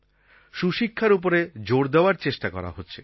সুশিক্ষার ওপরে জোর দেওয়ার চেষ্টা করা হচ্ছে